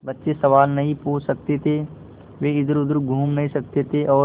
बच्चे सवाल नहीं पूछ सकते थे वे इधरउधर घूम नहीं सकते थे और